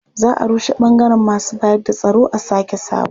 Za a rushe ɓangaren masu bayarda tsaro a sake sabo.